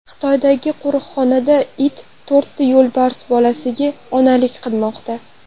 Xitoydagi qo‘riqxonada it to‘rtta yo‘lbars bolasiga onalik qilmoqda .